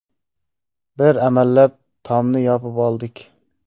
Bir amallab, tomni yopib oldik.